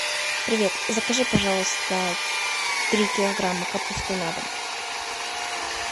привет закажи пожалуйста три килограмма капусты на дом